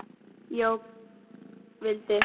Jóka vildi.